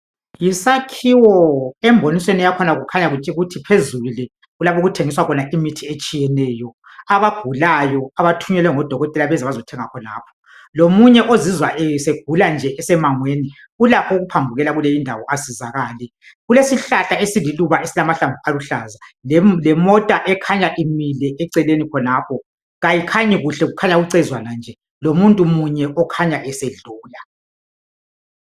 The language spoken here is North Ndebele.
Yisakhiwo embonisweni yakhona kukhanya ukuthi phezulu le yikho okuthengiswa khona imithi yabagulayo abathunyelwe ngudokotela ukuzothenga khona lomunye ozizwa esegula nje esemangweni ulakho ukuphambukela kuleyi indawo asizakale kulesihlahla esingamaluba aluhlaza lemota ekhanya imile eceleni khonapha ayikhanyi kuhle kukhanya ucezwana kuphela lomuntu munye okhanya esedlula